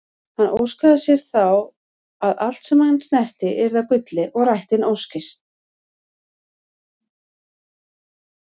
Hann óskaði sér þá að allt sem hann snerti yrði að gulli og rættist óskin.